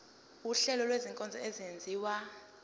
wuhlengo lwezinkonzo ezenziwa